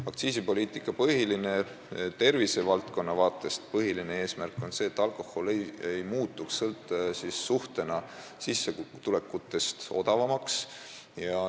Aktsiisipoliitika tervisevaldkonna vaatest põhiline eesmärk on see, et alkohol ei tohiks sissetulekutega võrreldes muutuda odavamaks.